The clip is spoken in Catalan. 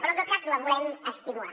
però en tot cas la volem estimular